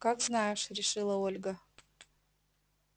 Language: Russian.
как знаешь решила ольга